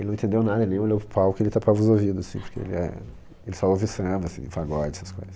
Ele não entendeu nada, ele nem olhou para o palco, ele tapava os ouvidos, assim, porque ele é... Ele só ouve samba, assim, pagode, essas coisas.